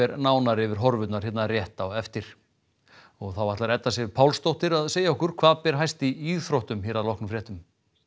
nánar yfir horfurnar hér rétt á eftir og þá ætlar Edda Sif Pálsdóttir að segja okkur hvað ber hæst í íþróttum hér að loknum fréttum